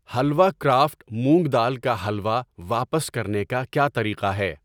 حلوا craft مونگ دال کا حلوا واپس کرنے کا کیا طریقہ ہے؟